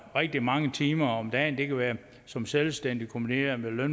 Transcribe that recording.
rigtig mange timer om dagen det kan være som selvstændig kombineret med